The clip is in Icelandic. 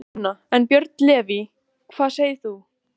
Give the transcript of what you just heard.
Sunna: En, Björn Leví, hvað segir þú?